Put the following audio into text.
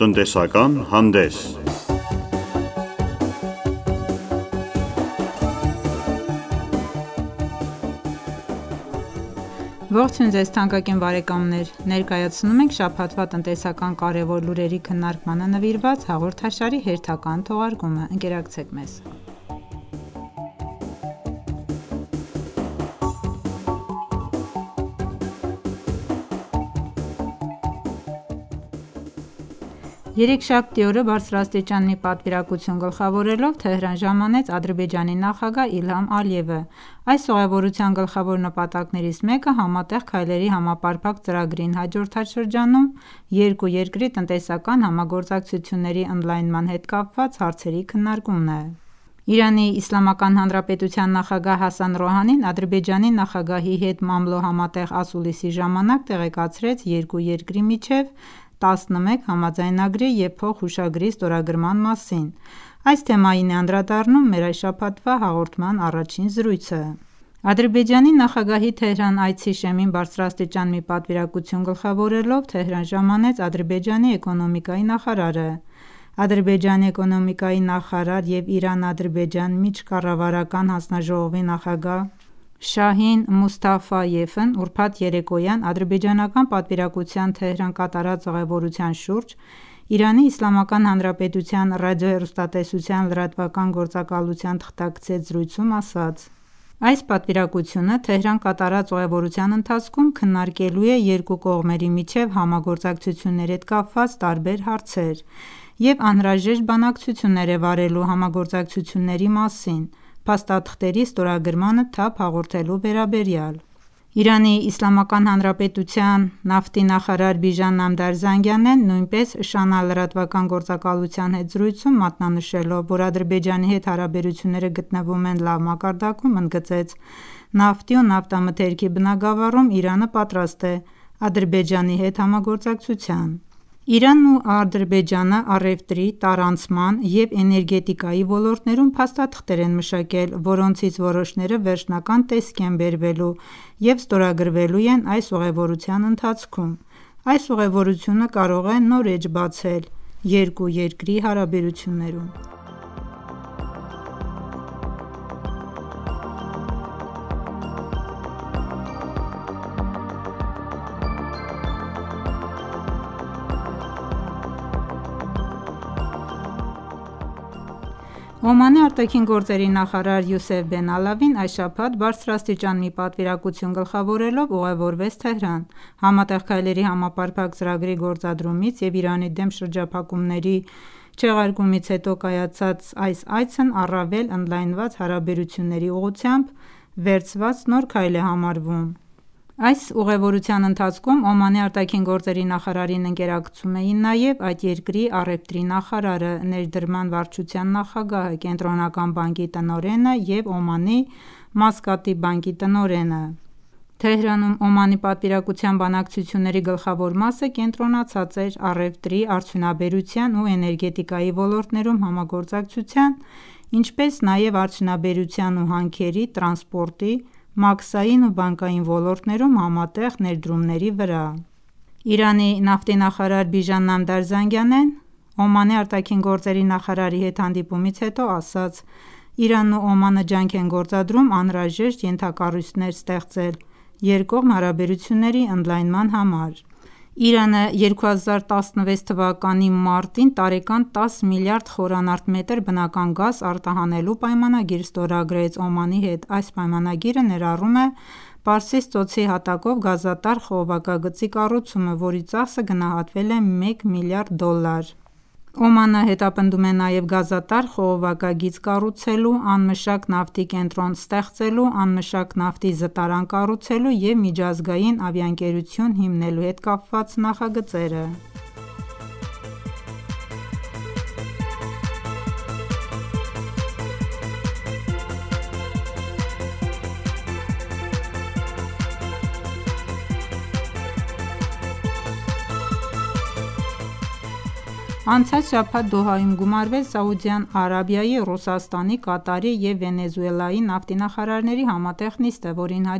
Տնտեսական հանդես Ողջույն Ձեզ թանկագին բարեկամներ: Ներկայացնում ենք շաբաթվա տնտեսական կարևոր լուրերի քննարկմանը նվիրված հաղորդաշարի հերթական թողարկումը: Ընկերակցեք մեզ: Երեքշաբթի օրը բարձրաստիճան մի պատվիրակություն գլխավորելով Թեհրան ժամանեց Ադրբեջանի նախագահ Իլհամ Ալիևը: Այս ուղևորության գլխավոր նպատակներից մեկը Համատեղ քայլերի համապարփակ ծրագրին հաջորդած շրջանում երկու երկրի տնտեսական համագործակցությունների ընդլայնման հետ կապված հարցերի քննարկումն է: ԻԻՀ նախագահ Հասան Ռոհանին Ադրբեջանի նախագահի հետ մամլո համատեղ ասուլիսի ժամանակ տեղեկացրեց երկու երկրի միջև 11 համաձայնագրի և փոխհուշագրի ստորագրման մասին: Այս թեմային է անդրադառնում մեր այս շաբաթվա հաղորդման առաջին զրույցը: Ադրբեջանի նախագահի Թեհրան այցի շեմին բարձրաստիճան մի պատվիրակություն գլխավորելով Թեհրան ժամանեց Ադրբեջանի էկոնոմիկայի նախարարը: Ադրբեջանի էկոնոմիկայի նախարար և Իրան-Ադրբեջան միջկառավարական հանձնաժողովի նախագահ Շահին Մուսթաֆայևն ուրբաթ երեկոյան ադրբեջանական պատվիրակության Թեհրան կատարած ուղևորության շուրջ ԻԻՀ Ռադիո-հեռուստատեսության լրատվական գործակալության թղթակցի հետ զրույցում ասաց. «Այս պատվիրակությունը Թեհրան կատարած ուղևորության ընթացքում քննարկելու է երկու կողմերի միջև համագործակցությունների հետ կապված տարբեր հարցեր և անհրաժեշտ բանակցություններ է վարելու համագործակցությունների մասին փաստաթղթերի ստորագրմանը թափ հաղորդելու վերաբերյալ: ԻԻՀ նավթի նախարար Բիժան Նամդար Զանգանեն նույնպես ՇԱՆԱ լրատվական գործակալության հետ զրույցում մատնանշելով, որ Ադրբեջանի հետ հարաբերությունները գտնվում են լավ մակարդակում, ընդգծեց. «Նավթի ու նավթամթերքի բնագավառում Իրանը պատրաստ է Ադրբեջանի հետ համագործակցության»: Իրանն ու Ադրբեջանը առևտրի, տարանցման և էներգետիկայի ոլորտներում փաստաթղթեր են մշակել, որոնցից որոշները վերջնական տեսքի են բերվելու և ստորագրվելու են այս ուղևորության ընթացքում: Այս ուղևորությունը կարող է նոր էջ բացել երկու երկրի հարաբերություններում: Օմանի ԱԳ նախարար Յուսեֆ Բեն Ալավին այս շաբաթ բարձրաստիճան մի պատվիրակություն գլխավորելով ուղևորվեց Թեհրան: Համատեղ քայլերի համապարփակ ծրագրի գործադրումից և Իրանի դեմ շրջափակումների չեղարկումից հետո կայացած այս այցն առավել ընդլայնված հարաբերությունների ուղղությամբ վերցված նոր քայլ է համարվում: Այս ուղևորության ընթացքում Օմանի ԱԳ նախարարին ընկերակցում էին նաև այդ երկրի առևտրի նախարարը, ներդրման վարչության նախագահը, Կենտրոնական բանկի տնօրենն ու Օմանի Մասկատի բանկի տնօրենը: Թեհրանում Օմանի պատվիրակության բանակցությունների գլխավոր մասը կենտրոնացած էր առևտրի, արդյունաբերության ու էներգետիկայի ոլորտներում համագործակցության, ինչպես նաև արդյունաբերության ու հանքերի, տրանսպորտի, մաքսային ու բանկային ոլորտներում համատեղ ներդրումների վրա: Իրանի նավթի նախարար Բիժան Նամդար Զանգանեն Օմանի ԱԳ նախարարի հետ հանդիպումից հետո ասաց, որ Իրանն ու Օմանը ջանք են գործադրում անհրաժեշտ ենթակառույցները ստեղծել երկկողմ հարաբերությունների ընդլայնման համար: Իրանը 2014 թվականի մարտին տարեկան 10 միլիարդ խմ բնական գազ արտահանելու պայմանագիր ստորագրեց Օմանի հետ: Այս պայմանագիրը ներառում է Պարսից ծոցի հատակով գազատար խողովակագծի կառուցումը, որի ծախսը գնահատվել է մեկ միլիարդ դոլար: Օմանը հետապնդում է նաև գազատար խողովակագիծ կառուցելու, անմշակ նավթի կենտրոն ստեղծելու, անմշակ նավթի զտարան կառուցելու և միջազգային ավիաընկերություն հիմնելու հետ կապված նախագծերը: Անցած շաբաթ Դոհայում գումարվեց Սաուդյան Արաբիայի, Ռուսաստանի, Կատարի և Վենեսուելայի նավթի նախարարների համատեղ նիստը, որին հաջորդեց